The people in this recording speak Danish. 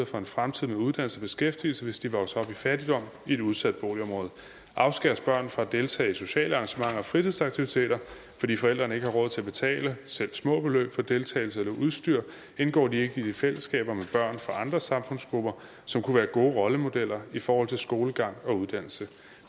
for en fremtidig uddannelse og beskæftigelse hvis de vokser i fattigdom i et udsat boligområde afskæres børn fra at deltage i sociale arrangementer og fritidsaktiviteter fordi forældrene ikke har råd til at betale selv små beløb for deltagelse eller udstyr indgår de ikke i fællesskaber med børn fra andre samfundsgrupper som kunne være gode rollemodeller i forhold til skolegang og uddannelse